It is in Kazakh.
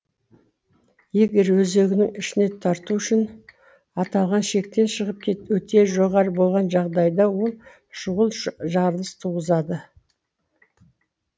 егер өзегінің ішіне тарту үшін аталған шектен шығып өте жоғары болған жағдайда ол шұғыл жарылыс туғызады